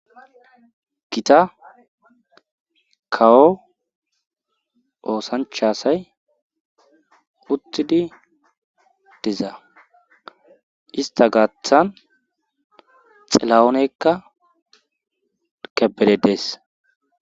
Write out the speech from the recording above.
gita kawo oosancha asay uttidi dizaa ista gaaththan xela7oonekka kebere dees